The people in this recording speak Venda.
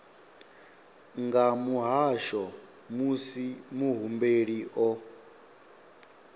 nga muhasho musi muhumbeli o